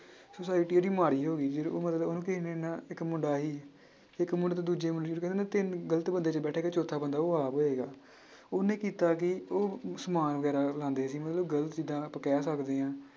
Society ਉਹਦੀ ਮਾੜੀ ਹੋ ਗਈ ਫਿਰ ਉਹ ਮਤਲਬ ਉਹਨੂੰ ਕਿਸੇ ਨੇ ਨਾ ਇੱਕ ਮੁੰਡਾ ਸੀ ਇੱਕ ਮੁੰਡੇ ਤੋਂ ਦੂਜੇ ਮੁੰਡੇ ਤਿੰਨ ਗ਼ਲਤ ਬੰਦਿਆਂ 'ਚ ਬੈਠੇਗਾ ਚੌਥਾ ਬੰਦਾ ਉਹ ਆਪ ਹੋਏਗਾ ਉਹਨੇ ਕੀਤਾ ਕੀ ਉਹ ਸਮਾਨ ਵਗ਼ੈਰਾ ਲਾਉਂਦੇ ਸੀ ਮਤਲਬ ਗ਼ਲਤ ਜਿੱਦਾਂ ਆਪਾਂ ਕਹਿ ਸਕਦੇ ਹਾਂ।